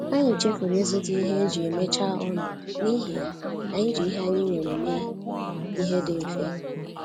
Anyị chefuru ịzụta ihe eji emechaa ọnụ, n’ihi ya, anyị ji ihe anyị nwere mee ihe dị mfe